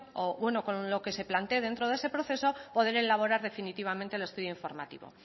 o bueno con lo que se plantee dentro de ese proceso poder elaborar definitivamente el estudio informativo